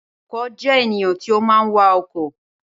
Awakọ̀ jẹ́ ènìyàn tí ó máa ń wa ọkọ̀